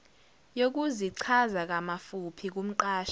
yokuzichaza ngamafuphi kumqashi